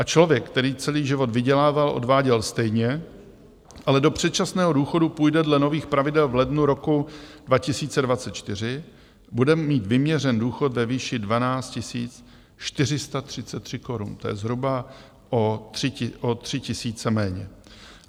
A člověk, který celý život vydělával, odváděl stejně, ale do předčasného důchodu půjde dle nových pravidel v lednu roku 2024, bude mít vyměřen důchod ve výši 12 433 korun, to je zhruba o tři tisíce méně.